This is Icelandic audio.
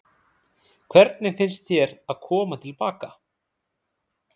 Hvernig finnst þér að koma til baka?